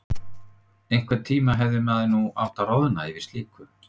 Einhverntíma hefði maður nú átt að roðna yfir slíku.